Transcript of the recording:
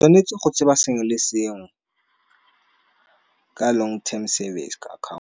Tshwanetse go tseba sengwe le sengwe, ka long term service ka account.